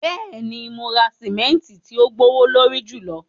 Bẹ́ẹ̀ni, mo ra simẹntì ti ò gbowolorí júlọ